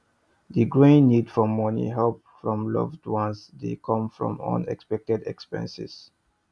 di growing need for money help from loved ones dey come from unexpected expenses